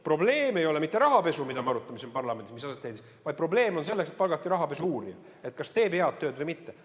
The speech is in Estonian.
Probleem ei ole mitte rahapesu, mida me arutame siin parlamendis, vaid probleem on selles, et palgati rahapesu uurija, et kas ta teeb head tööd või mitte.